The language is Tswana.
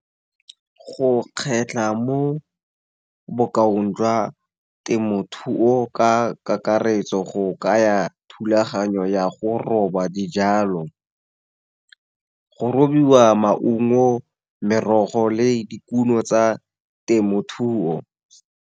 Go kgetlha mo bokaong jwa temothuo ka kakaretso, go kaya thulaganyo ya go roba dijalo. Go robiwa maungo, merogo le dikuno tsa temothuo.